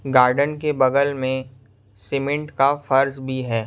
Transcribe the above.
Garden के बगल मैं सीमेंट का फर्स भी हैं।